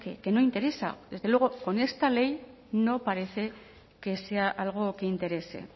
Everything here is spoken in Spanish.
que no interesa desde luego con esta ley no parece que sea algo que interese